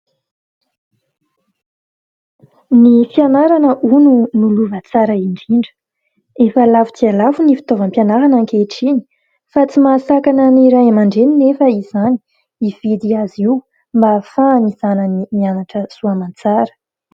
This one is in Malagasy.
Ny fianarana hono no lova tsara indrindra. Efa lafo dia lafo ny fitaovam-pianarana ankehitriny fa tsy mahasakana ny Ray Aman-dreny anefa izany hividy azy io mba hahafahan'ny zanany mianatra soamantsara.